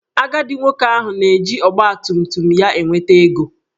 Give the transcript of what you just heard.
Agadi nwoke ahụ na-eji ọgbatumtum ya enweta ego